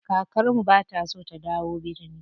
Kakar mu bata so da dawo birni.